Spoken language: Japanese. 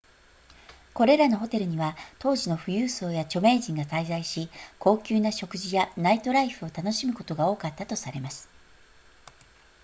これらのホテルには当時の富裕層や著名人が滞在し高級な食事やナイトライフを楽しむことが多かったとされます